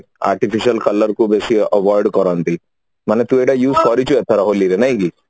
artificial color କୁ ବେଶି avoid କରନ୍ତି ମାନେ ତୁ ଗୋଟେ use କରିଛୁ ଏଥର ହୋଲିକୁ ନାଇକି